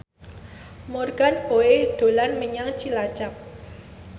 Morgan Oey dolan menyang Cilacap